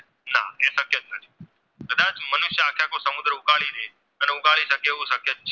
ઉકાળી શકે એવું શક્ય જ છે